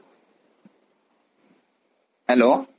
hello